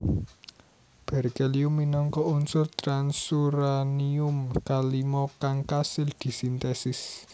Berkelium minangka unsur transuranium kalima kang kasil disintesis